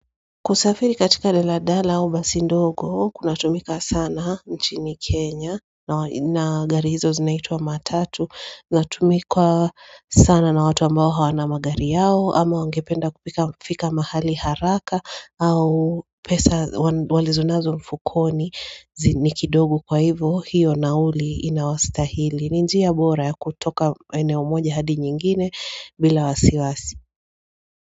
Kusafiri katika daladala au basi ndogo kunatumika sana nchini Kenya. Na gari hizo zinaitwa matatu inatumika sana na watu ambao hawana magari yao ama wangependa kufika mahali haraka au pesa walizonazo mfukoni ni kidogo. Kwa hivyo, hiyo nauli inayowastahili ni njia bora ya kutoka eneo moja hadi nyingine bila wasiwasi.